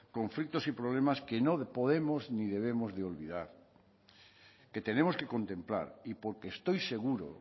conflictos y problemas que no podemos ni debemos de olvidar que tenemos que contemplar y porque estoy seguro